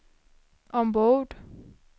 ombord